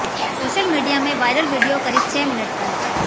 social media में viral video करीब छह मिनट का है